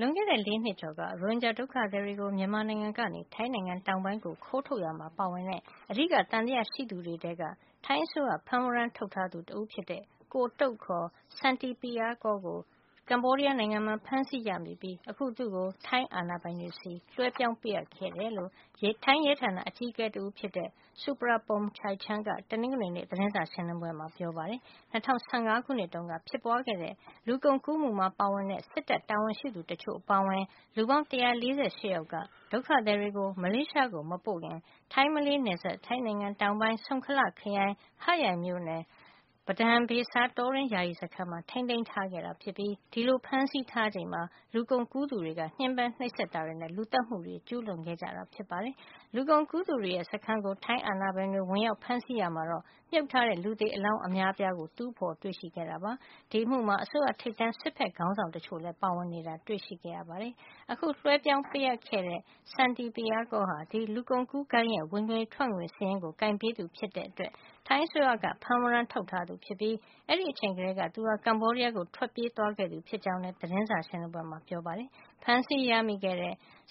လွန်ခဲ့တဲ့ ၄ နှစ်ကျော်က ရိုဟင်ဂျာဒုက္ခသည်တွေကို မြန်မာနိုင်ငံကနေ ထိုင်းနိုင်ငံတောင်ပိုင်းကို ခိုးထုတ်ရာမှာပါဝင်တဲ့ အဓိက သံသယရှိသူတွေထဲက ထိုင်းအစိုးရ ဖမ်းဝရန်းထုတ်ထားသူ တဦးဖြစ်တဲ့ ကိုတုတ် (ခေါ်) Santipiyakul ကို ကမ္ဘောဒီးယားနိုင်ငံမှာ ဖမ်းဆီးရမိပြီး သူ့ကို ထိုင်းအာဏာပိုင်တွေဆီ လွှဲပြောင်းပေးအပ်ခဲ့တယ်လို့ ထိုင်းရဲတပ်ဖွဲ့ အကြီးအကဲ တဦးဖြစ်တဲ့ Surapong Chaichan က တနင်္ဂနွေနေ့ သတင်းစာရှင်းလင်းပွဲမှာ ပြောပါတယ်။ ၂၀၁၅ ခုနှစ်တုန်းက လူကုန်ကူးဂိုဏ်းကြီးတခုကို ဖြိုခွဲဖမ်းဆီးတာမှာ လူကုန်ကူးမှုမှာ ပါဝင်တဲ့ စစ်တပ်တာဝန်ရှိသူတချို့အပါအဝင် လူပေါင်း ၁၄၈ ယောက်ဟာ ဒုက္ခသည်တွေကို မလေးရှား ကိုမပို့ခင် ထိုင်း-မလေးနယ်စပ်၊ ထိုင်းနိုင်ငံတောင်ပိုင်း Songkhla ခရိုင်၊ Hat Yai မြို့နယ် ၊ Padang Besar တောတွင်းယာယီစခန်းမှာ ထိန်းသိမ်းထား ခဲ့ပြီး ဒီလိုဖမ်းဆီးထားချိန်မှာ လူကုန်ကူးသူတွေက ညှဉ်းပမ်းနှိပ်စက်တာတွေနဲ့ လူသတ်မှုတွေ ကျူးလွန်ခဲ့ကြတာကို ဖော်ထုတ်နိုင်ခဲ့တာပါ။ လူကုန်ကူးသူတွေရဲ့ စခန်းကို ထိုင်းအာဏာပိုင်တွေက ဝင်ရောက်ဖမ်းဆီးရာမှာတော့ မြှုပ်ထား တဲ့ လူသေအလောင်းအများအပြားကို တူးဖော်တွေ့ရှိခဲ့တာဖြစ်ပါတယ်။ ဒီအမှုမှာ ထိပ်တန်း ထိုင်း စစ်ဘက်ခေါင်းဆောင်တချို့လည်း ပါဝင်နေတာ ဖော်ထုတ်သိရှိခဲ့ပါတယ်။ အခုလွှဲပြောင်းပေးအပ်ခဲ့တဲ့ Santipiyakul ဟာ ဒီလူကုန်ကူးဂိုဏ်းရဲ့ ဝင်ငွေထွက်ငွေ စာရင်း ကိုင်တွယ်ပေးသူဖြစ်တဲ့အတွက် ထိုင်းအစိုးရက ဖမ်းဝရန်းထုတ်ထားသူဖြစ်ပြီး အဲဒီအချိန် ကတည်းက သူဟာ ကမ္ဘောဒီးယားကို ထွက်ပြေးသွားခဲ့သူဖြစ်ကြောင်းလည်း သတင်းစာ ရှင်းလင်းပွဲမှာ ပြောပါတယ်။ ဖမ်းဆီးရမိတဲ့